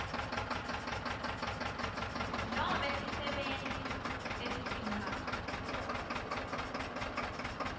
nobe sisebenti lesitimphawu